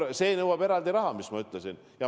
Jah, see nõuab eraldi raha, nagu ma ütlesin.